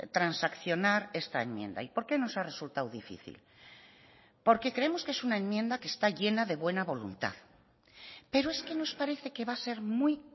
transaccionar esta enmienda y por qué nos ha resultado difícil porque creemos que es una enmienda que está llena de buena voluntad pero es que nos parece que va a ser muy